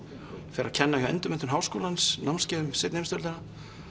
fer að kenna hjá Endurmenntun Háskólans námskeið um seinni heimsstyrjöldina